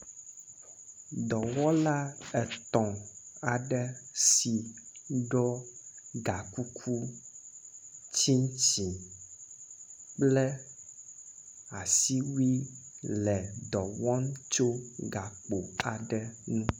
Dɔwɔla etɔ aɖe si ɖɔ gakuku, tsiŋtsiŋ kple awui le dɔ wɔm tso gakpo aɖe ŋu.